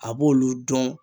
A b'olu dɔn